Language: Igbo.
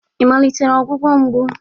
Ị malitere ọgwụgwọ mgbu?